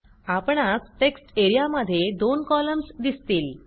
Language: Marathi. आपणास टेक्स्ट एरियामध्ये दोन कॉलम्स दिसतील